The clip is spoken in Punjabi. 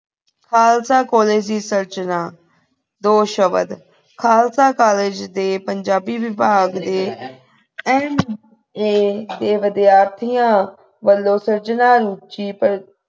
ਖਾਲਸਾ college ਦੀ ਸਿਰਜਨਾ ਦੋ ਸ਼ਬਦ ਖਾਲਸਾ college ਦੇ ਪੰਜਾਬੀ ਵਿਭਾਗ ਦੇ nah ਦੇ ਵਿਦਿਆਰਥੀਆਂ ਵੱਲੋਂ ਸਿਰਜਣਾ ਰੁਚੀ ਪਰ